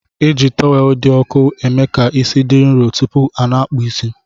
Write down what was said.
Eji tọwelu di ọku emeka isi di nrọ tupu ana akpụ isi.